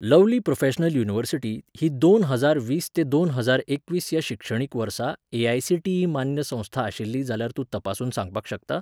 Lovely professional university ही दोन हजार वीस ते दोन हजाार एकवीस ह्या शिक्षणीक वर्सा एआयसीटीई मान्य संस्था आशिल्ली जाल्यार तूं तपासून सांगपाक शकता?